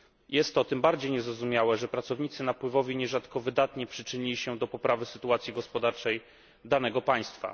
Jest to tym bardziej niezrozumiałe, że pracownicy napływowi nierzadko wydatnie przyczynili się do poprawy sytuacji gospodarczej danego państwa.